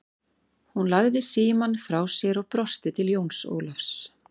Hún lagði síamm frá sér og brosti til Jóns Ólafs.